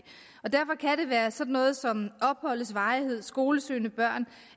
være sådan noget som opholdets varighed skolesøgende børn